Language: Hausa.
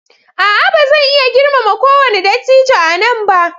A'a! Ba zan iya girmama kowane dattijo a nan ba.